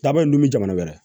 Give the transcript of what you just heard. Labɛn jamana wɛrɛ